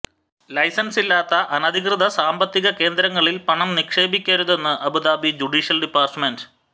ലൈസൻസില്ലാത്ത അനധികൃത സാമ്പത്തിക കേന്ദ്രങ്ങളിൽ പണം നിക്ഷേപിക്കരുതെന്ന് അബുദാബി ജുഡീഷ്യൽ ഡിപ്പാർട്ട്മെൻറ്